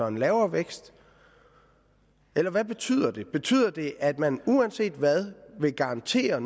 en lavere vækst eller hvad betyder det betyder det at man uanset hvad vil garantere